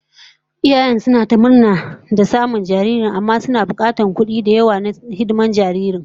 Iyayen suna ta murna da samun jariri, amma fa suna bukatar kudi da yawa na hidimar jaririn